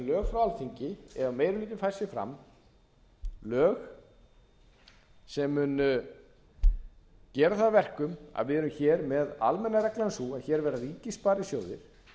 alþingi ef meiri hlutinn fær fram lög sem munu gera það að verkum að við erum hér með almenna reglan er sú að hér verða ríkissparisjóðir